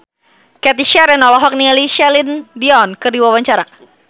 Cathy Sharon olohok ningali Celine Dion keur diwawancara